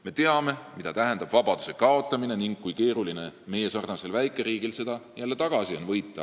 Me teame, mida tähendab vabaduse kaotamine ning kui keeruline on meiesarnasel väikeriigil seda jälle tagasi võita.